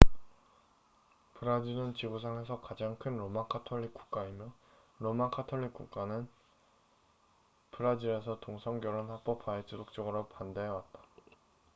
브라질은 지구상에서 가장 큰 로마 가톨릭 국가이며 로마 가톨릭교회는 브라질에서 동성 결혼 합법화에 지속적으로 반대해 왔다